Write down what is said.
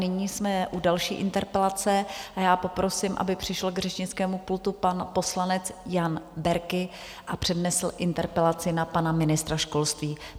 Nyní jsme u další interpelace a já poprosím, aby přišel k řečnickému pultu pan poslanec Jan Berki a přednesl interpelaci na pana ministra školství.